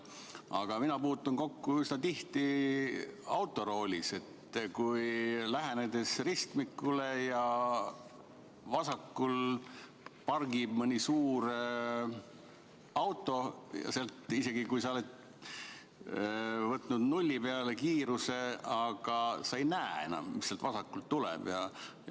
Aga mina puutun kokku üsna tihti autoroolis, kui lähenen ristmikule ja vasakul pargib mõni suur auto ja sealt, isegi kui sa oled alandanud kiiruse nulli peale, ei näe enam, mis vasakult tuleb.